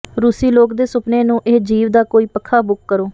ਰੂਸੀ ਲੋਕ ਦੇ ਸੁਪਨੇ ਨੂੰ ਇਹ ਜੀਵ ਦਾ ਕੋਈ ਪੱਖਾ ਬੁੱਕ ਕਰੋ